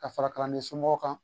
Ka fara kalanden somɔgɔw kan